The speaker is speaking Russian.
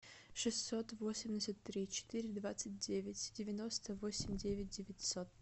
шестьсот восемьдесят три четыре двадцать девять девяносто восемь девять девятьсот